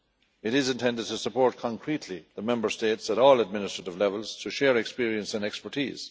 It is intended to support concretely the Member States at all administrative levels to share experience and expertise.